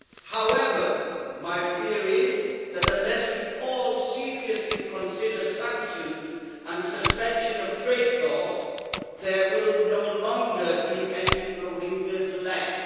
However, my fear is that, unless we all seriously consider sanctions and suspension of trade talks, there will no longer be any Rohingyas left.